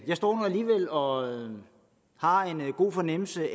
jeg står nu alligevel og har en god fornemmelse